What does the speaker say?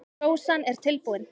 Sósan er tilbúin.